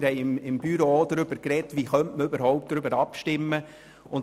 Wir haben im Büro auch darüber gesprochen, wie wir überhaupt darüber abstimmen können.